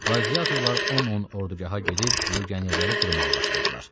Qladiyatorlar on-on ordugaha girib legionerləri qırmağa başladılar.